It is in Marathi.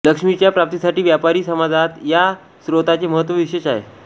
लक्ष्मीच्या प्राप्तीसाठी व्यापारी समाजात या स्तोत्राचे महत्त्व विशेष आहे